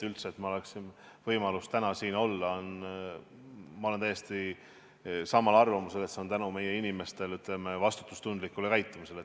See, et mul üldse on võimalus täna siin olla – ma olen täiesti samal arvamusel –, on tänu meie inimeste vastutustundlikule käitumisele.